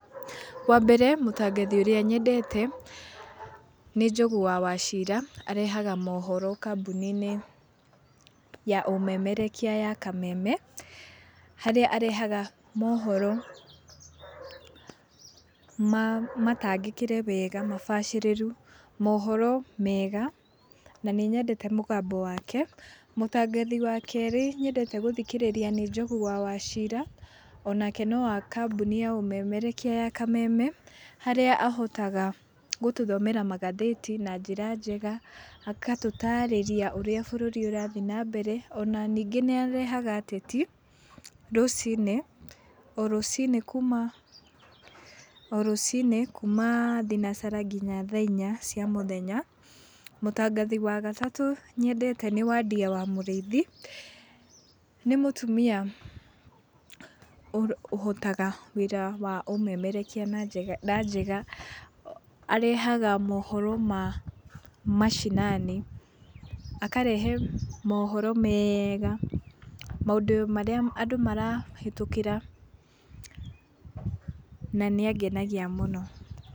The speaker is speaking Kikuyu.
Wambere mũtangathi ũrĩa nyendete nĩ Njogu wa Wachira arehaga mũhoro kambũninĩ ya ũmemerekia ya kameme harĩa arehaga mohoro matangĩkĩre wega, mabacĩrĩru, mohoro mega na nĩnyendete mũgambo wake. Mutangathi wa kerĩ ,ũrĩa nyendete kũthikĩrĩria nĩ Njogu wa Wachira onake nĩ kambũni ya ũmemerekia ya Kameme harĩa ahotaga gũtũthomera magathĩti na njĩra njega, agatũtarĩria ũrĩa bũrũri ũrathi na mbere ona ningĩ nĩarehaga ateti rũcinĩ, orũcinĩ kuuma, orũcinĩ kuuma [uhh]thinasara nginya thaa inya cia mũthenya. Mutangathi wagatatũ nyendete nĩ Wandia wa Mũrĩithi, nĩ mũtumia ũhotaga wĩra wa ũmemerekia, arehaga mũhoro ma mashinani, akareha mohoro mega maũndũ marĩa andũ marahĩtũkĩra na nĩangenagia mũno.